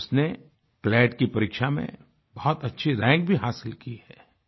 उसने क्लैट की परीक्षा में बहुत अच्छी रैंक भी हासिल की है